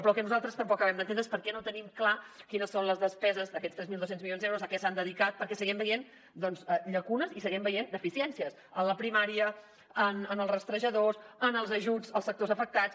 però el que nosaltres tampoc acabem d’entendre és per què no tenim clar quines són les despeses d’aquests tres mil dos cents milions d’euros a què s’han dedicat perquè seguim veient llacunes i seguim veient deficiències en la primària en els rastrejadors en els ajuts als sectors afectats